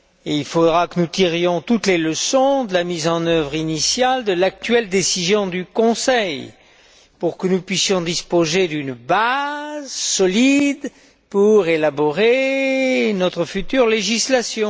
Il faudra que nous tirions toutes les leçons de la mise en œuvre initiale de l'actuelle décision du Conseil pour que nous puissions disposer d'une base solide pour élaborer notre future législation.